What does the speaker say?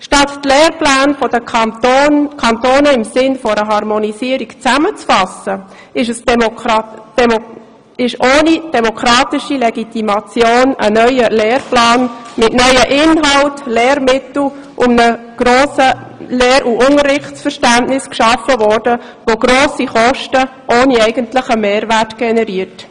Statt die Lehrpläne der Kantone im Sinne einer Harmonisierung zusammenzufassen, wurde ohne demokratische Legitimation ein neuer Lehrplan mit neuen Inhalten, Lehrmitteln und einem grossen Lehr- und Unterrichtsverständnis geschaffen, der ohne eigentlichen Mehrwert grosse Kosten generiert.